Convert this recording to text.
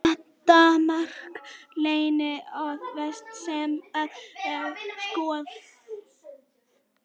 Þetta mark var líklega það versta sem ég hef skorað.